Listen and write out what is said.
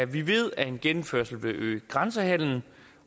vi ved at en genindførelse vil øge grænsehandelen